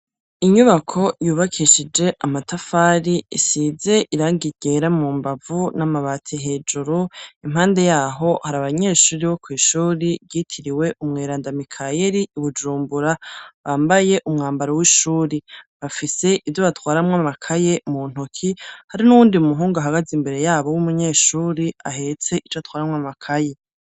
Inyubako yubakishije amatafari isize irangi ryera mu mbavu n'amabati hejuru, impande yaho hari abanyeshuri bo kwishuri ryitiriwe umweranda mikayeri i Bujumbura bambaye umwambaro w'ishuri bafise ivyo batwaramwo amakaye mu ntoki hari n'uwundi muhungu ahagaze imbere yabo w'umunyeshuri ahetse ico atwaramwo amakaye.